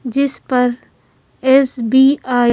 जिस पर एस_बी_आई --